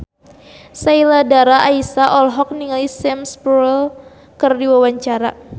Sheila Dara Aisha olohok ningali Sam Spruell keur diwawancara